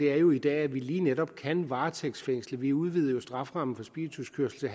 er jo i dag lige netop kan varetægtsfængsle vi udvidede jo strafferammen for spirituskørsel til